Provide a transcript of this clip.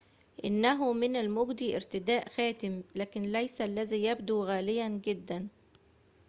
إنه من المجدي ارتداء خاتم لكن ليس الذي يبدو غالياً جداً